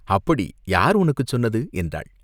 "அப்படி யார் உனக்குச் சொன்னது?" என்றாள்.